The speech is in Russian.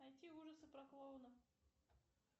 найти ужасы про клоуна